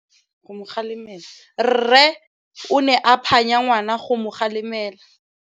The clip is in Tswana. Rre o ne a phanya ngwana go mo galemela.